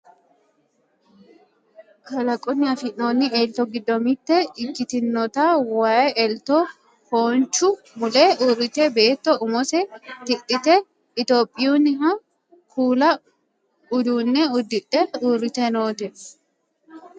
kalqunni afi'noonni elto giddo mitte ikkitinota waye elto foonchu mule uurrite beetto umose tidhite itiyophiyuunniha kuula uduunne uddidhe uurrite noote